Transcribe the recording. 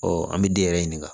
an bɛ den yɛrɛ ɲininka